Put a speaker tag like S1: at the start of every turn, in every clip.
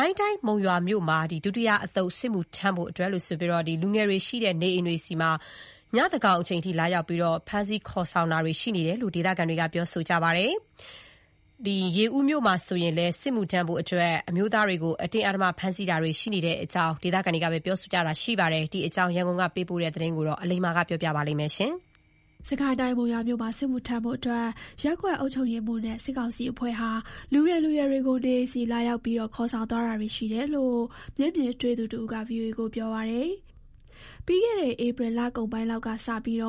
S1: ိုင်းတိုင်း၊ မုံရွာမြို့မှာ ဒုတိယအသုတ် စစ်မှုထမ်းဖို့အတွက် လူငယ်တွေရှိတဲ့ နေအိမ်တွေဆီ ညသန်းခေါင်အချိန် ရောက်လာပြီး ဖမ်းဆီး ခေါ်ဆောင်တာတွေ ရှိနေတယ်လို့ ဒေသခံတွေက ပြောပါတယ်။ ရေဦးမြို့မှာလည်း စစ်မှုထမ်းဖို့အတွက် အမျိုးသားတွေကို အတင်းအဓမ္မ ဖမ်းဆီးတာတွေ ရှိနေတယ်လို့ ပြောပါတယ်။ ဒီအကြောင်း ရန်ကုန်ကပေးပို့တဲ့သတင်းကို အခြေခံပြီး အလိမ္မာက ပြောပြမှာပါ။
S2: စစ်ကိုင်းတိုင်း၊ မုံရွာမြို့မှာ စစ်မှုထမ်းဖို့အတွက် ရပ်ကွက်အုပ်ချုပ်ရေးမှူးနဲ့ စစ်ကောင်စီအဖွဲ့ဟာ လူငယ်လူရွယ်တွေကို နေအိမ်ဆီလာရောက် ခေါ်ဆောင်သွားတာတွေ ရှိနေတယ်လို့ မျက်မြင်တွေ့သူ တဦးက ဗွီအိုအေကို ပြောပါတယ်။ ပြီးခဲ့တဲ့ ဧပြီလကုန်ပိုင်းလောက်ကစပြီး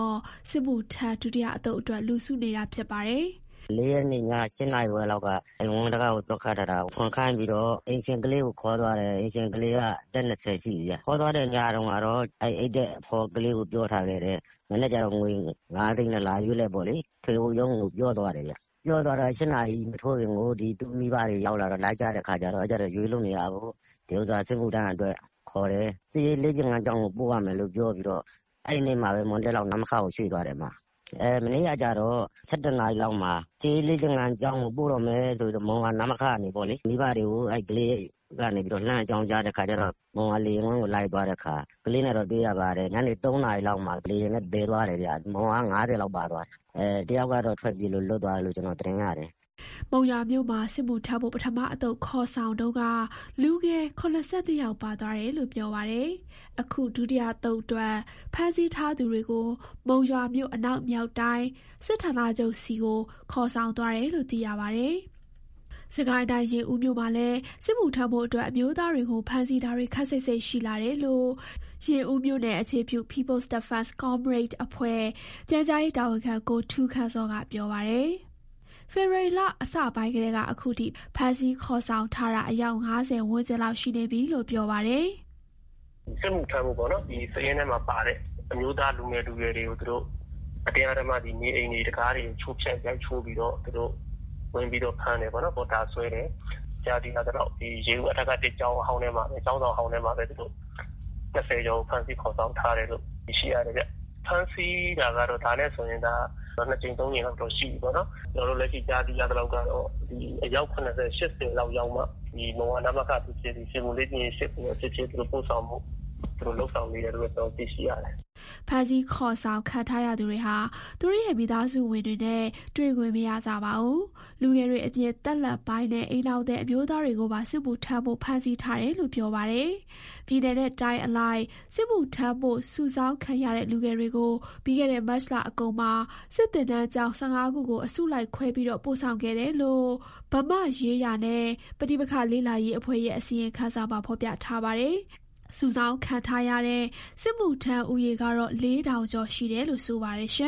S2: စစ်မှုထမ်း ဒုတိယအသုတ်အတွက် လူစုနေတာပါ။ "
S3: ၄ ရက်နေ့ည ၈ နာရီခွဲလောက်က အိမ်ဝင်းတံခါး သော့ခတ်ထားတာကို ဖွင့်ခိုင်းပြီးတော့ အိမ်ရှင်ကလေးကို ခေါ်သွားတယ်။ အိမ်ရှင်ကလေးက အသက် ၂၀ ရှိပြီဗျ။ ခေါ်သွားတဲ့ ညတုန်းကတော့ သူနဲ့အတူအိပ်တဲ့ အဖော်ကလေးကို ပြောထားခဲ့တယ်။ မနက်ကျရင် ထွေအုပ်ရုံးကို ငွေ ၅ သိန်းနဲ့ လာရွေးဖို့ ပြောသွားတယ်ဗျ။ ပြောသွားတော့ ၈ နာရီမထိုးခင် သူ့မိဘတွေ ရောက်လာပြီး လိုက်ကြတဲ့အခါကျတော့ ရွေးလို့မရဘူး။ ဒီဥစ္စာ စစ်မှုထမ်းအတွက် ခေါ်တယ်။ စစ်ရေးလေ့ကျင့်ခန်းကျောင်းကို ပို့ရမယ်ပြောပြီးတော့ အဲဒီနေ့မှာပဲ မွန်းတည့်လောက် နမခကို ရွှေ့သွားတယ်။ မနေ့ကကျတော့ ၁၁ နာရီလောက်မှာ စစ်ရေးလေ့ကျင့်ခန်းကျောင်းကို ပို့တော့မယ်ဆိုပြီးတော့ မုံရွာနမခကနေ မိဘတွေကို အဲဒီကလေးက လှမ်းအကြောင်းကြားတော့ မုံရွာလေယာဉ်ကွင်းကို လိုက်သွားတဲ့အခါ ကလေးနဲ့တော့ တွေ့ရပါတယ်။ ညနေ ၃ နာရီလောက်မှာ လေယာဉ်နဲ့ သယ်သွားတယ်ဗျ။ မုံရွာက ၅၀ လောက်ပါသွားတယ်။ ၁ ယောက်ကတော့ ထွက်ပြေးလို့ လွတ်သွားတယ်လို့ ကြားရတယ်။
S2: " မုံရွာမြို့မှာ စစ်မှုထမ်းဖို့ ပထမအသုတ် ခေါ်ဆောင်တုန်းက လူငယ် ၇၂ ယောက်ပါသွားတယ်လို့ ပြောပါတယ်။ အခု ဒုတိယအသုတ်အတွက် ဖမ်းဆီးထားသူတွေကို မုံရွာမြို့ အနောက်မြောက်တိုင်း စစ်ဌာနချုပ်ဆီ ခေါ်ဆောင်သွားတယ်လို့ သိရပါတယ်။ စစ်ကိုင်းတိုင်း၊ ရေဦးမြို့မှာလည်း စစ်မှုထမ်းဖို့အတွက် အမျိုးသားတွေကို ဖမ်းဆီးတာတွေ ခပ်စိပ်စိပ်ရှိလာတယ်လို့ ရေဦးမြို့နယ် အခြေပြု People's Defence Comrade အဖွဲ့ ပြန်ကြားရေးတာဝန်ခံ ကိုထူးခန့်ဇော်က ပြောပါတယ်။ ဖေဖော်ဝါရီလ အစပိုင်းကတည်းက အခုချိန်ထိ ဖမ်းဆီးခေါ်ဆောင်ထားတာ အယောက် ၅၀ ဝန်းကျင်လောက် ရှိနေပြီလို့ ပြောပါတယ်။
S4: "စစ်မှုထမ်းဖို့ စာရင်းထဲမှာပါတဲ့ အမျိုးသား လူငယ်လူရွယ်တွေကို အတင်းအဓမ္မ နေအိမ်တံခါးတွေ ချိုးဖျက်ရိုက်ချိုးပြီးတော့ ဝင်ဖမ်းတယ်။ ကြားသိရသလောက် ရေဦးအထက ၁ ကျောင်းဆောင်ဟောင်းထဲမှာပဲ ၂၀ ကျော်ကို ဖမ်းဆီးခေါ်ဆောင်ထားတယ်လို့ သိရှိရတယ်ဗျ။ ဖမ်းဆီးတာကတော့ ဒါနဲ့ဆိုရင် ၂ ကြိမ်၊ ၃ ကြိမ်လောက်တော့ ရှိပြီပေါ့နော်။ ကျနော်တို့ ကြားသိရသလောက်က အယောက် ၇၀ - ၈၀ လောက်ရောက်မှ မုံရွာနမခ ဖြစ်ဖြစ်၊ ရွှေဘိုလေ့ကျင့်ရေး ၈ ကိုပဲဖြစ်ဖြစ် ပို့ဆောင်ဖို့ သူတို့လုပ်ဆောင်နေတယ်လို့ သိရှိရတယ်။
S2: " ဖမ်းဆီးခေါ်ဆောင် ခံထားရသူတွေဟာ သူတို့ရဲ့ မိသားစုဝင်တွေနဲ့ တွေ့ခွင့်မရကြပါဘူး။ လူငယ်တွေအပြင် သက်လတ်ပိုင်းနဲ့ အိမ်ထောင်သည် အမျိုးသားတွေကိုပါ စစ်မှုထမ်းဖို့ ဖမ်းဆီးထားတယ်လို့ ပြောပါတယ်။ ပြည်နယ်နဲ့ တိုင်းအလိုက် စစ်မှုထမ်းဖို့ စုဆောင်းခံရတဲ့ လူငယ်တွေကို ပြီးခဲ့တဲ့ မတ်လအကုန်မှာ စစ်သင်တန်းကျောင်း ၁၅ ခုကို အစုလိုက်ခွဲပြီး ပို့ဆောင်ခဲ့တယ်လို့ ဗမာ့ရေးရာနှင့် ပဋိပက္ခလေ့လာရေးအဖွဲ့ရဲ့ အစီရင်ခံစာမှာ ဖော်ပြထားပါတယ်။ စုဆောင်းခံရတဲ့ စစ်မှုထမ်းဦးရေကတော့ ၄,၀၀၀ ကျော် ရှိတယ်လို့ ဆိုပါတယ်။